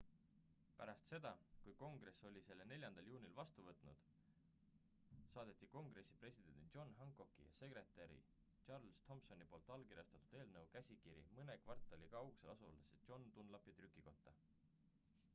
pärast seda kui kongress oli selle 4 juulil vastu võtnud saadeti kongressi presidendi john hancocki ja sekretäri charles thomsoni poolt allkirjastatud eelnõu käsikiri mõne kvartali kaugusel asuvasse john dunlapi trükikotta